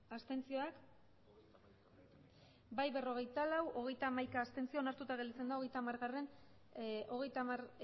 abstenzioak emandako botoak hirurogeita hamabost bai berrogeita lau abstentzioak hogeita hamaika onartuta geratzen da hogeita hamargarrena